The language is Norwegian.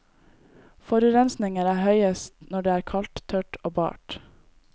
Forurensningen er høyest når det er kaldt, tørt og bart.